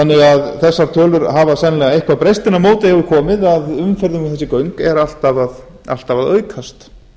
þannig að þessar tölur hafa sennilega eitthvað breyst en á móti hefur komið að umferð um þessi göng er alltaf að aukast